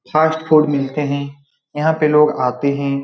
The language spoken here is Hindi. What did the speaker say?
फ़ास्ट फ़ूड मिलते हैं यहाँ पे लोग आते हैं।